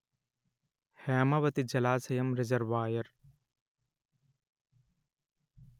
హేమవతి జలాశయం రిజర్వాయర్